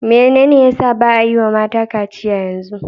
Menene ya sa ba'a yi wa mata kaciya yanzu?